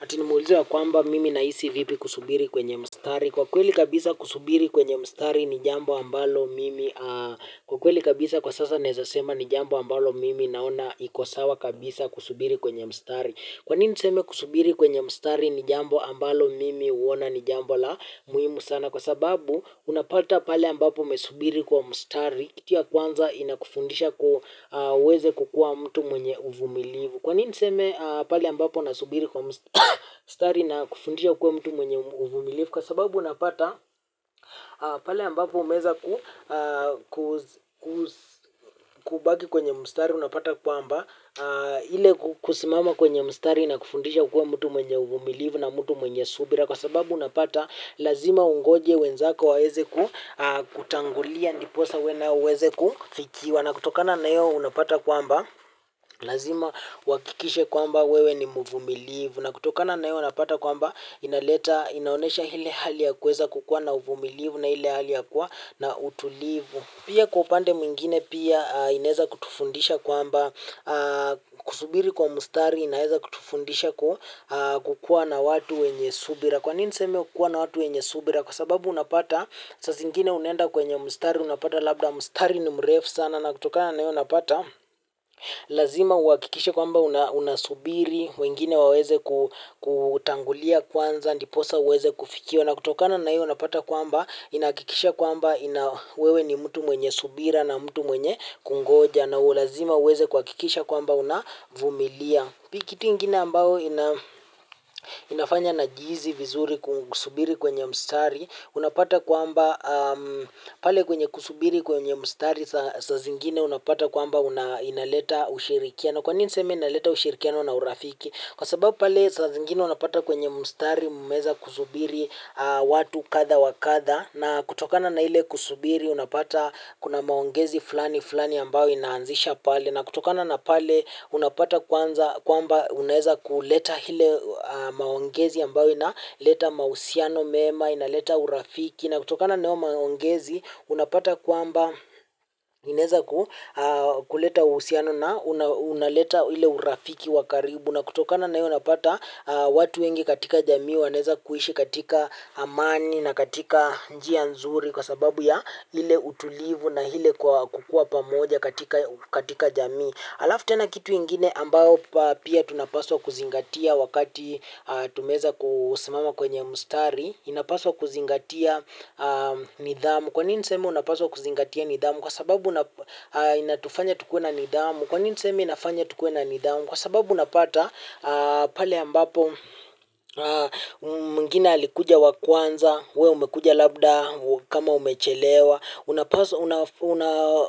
Ati nimeulizwa ya kwamba mimi nahisi vipi kusubiri kwenye mstari? Kwa kweli kabisa kusubiri kwenye mstari ni jambo ambalo mimi naona iko sawa kabisa kusubiri kwenye mstari. Kwanini niseme kusubiri kwenye mstari ni jambo ambalo mimi huona ni jambo la muhimu sana. Kwa sababu unapata pahali ambapo umesubiri kwa mstari. Kitu ya kwanza inakufundisha uweze kukua mtu mwenye uvumilivu. Kwa nini seme pahali ambapo nasubiri kwa mstari na kufundishwa kuwa mtu mwenye uvumilivu? Kwa sababu unapata pahali ambapo umeweza kubaki kwenye mstari unapata kwamba ile kusimama kwenye mstari ina kufundisha kuwa mtu mwenye uvumilivu na mtu mwenye subira. Kwa sababu unapata lazima ungoje wenzako waweze kutangulia ndiposa wewe na uweze kufikiwa. Na kutokana na hio unapata kwamba lazima uhakikishe kwamba wewe ni mvumilivu. Na kutokana na hio unapata kwamba inaonesha ile hali ya kuweza kukua na uvumilivu na ile hali ya kuwa na utulivu. Pia kwa upande mwingine pia inaweza kutufundisha kwamba kusubiri kwa mstari inaweza kutufundisha kukuwa na watu wenye subira. Kwa nini niseme kukua na watu wenye subira kwa sababu unapata saa zingine unenda kwenye mstari unapata labda mstari ni mrefu sana. Na kutokana na hio unapata, lazima uhakikishe kwamba unasubiri, wengine waweze kutangulia kwanza, ndiposa uweze kufikiwa. Na kutokana na hio unapata kwamba, inahakikisha kwamba wewe ni mtu mwenye subira na mtu mwenye kungoja. Na lazima uweze kuhakikisha kwamba unavumilia. Kitu ingine ambao inafanya najihisi vizuri kusubiri kwenye mstari, unapata kwamba pale kwenye kusubiri kwenye mstari saa zingine unapata kwamba inaleta ushirikiano. Kwa nini niseme inaleta ushirikiano na urafiki. Kwa sababu pale saa zingine unapata kwenye mstari mumeweza kusubiri watu kadha wa kadha na kutokana na ile kusubiri unapata kuna maongezi fulani fulani ambayo inaanzishwa pale. Na kutokana na pale unapata kwamba unaweza kuleta ile maongezi ambayo inaleta mahusiano mema, inaleta urafiki. Na kutokana na hayo maongezi unapata kwamba inaweza kuleta uhusiano na unaleta ile urafiki wa karibu. Na kutokana na hio unapata watu wengi katika jamii wanaweza kuishi katika amani na katika njia nzuri kwa sababu ya ile utulivu na ile kukuwa pamoja katika jamii. Halafu tena kitu ingine ambayo pia tunapaswa kuzingatia wakati tumeweza kusimama kwenye mstari. Inapaswa kuzingatia nidhamu. Kwa nini niseme unapaswa kuzingatia nidhamu? Kwa sababu inatufanya tukue na nidhamu. Kwa nini nisema inafanya tukue na nidhamu? Kwa sababu unapata pale ambapo mwingine alikuja wa kwanza. Wewe umekuja labda kama umechelewa.